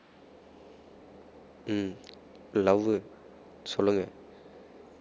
உம் love உ சொல்லுங்க